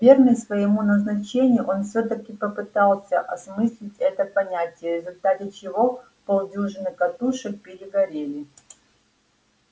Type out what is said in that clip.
верный своему назначению он всё-таки попытался осмыслить это понятие в результате чего полдюжины катушек перегорели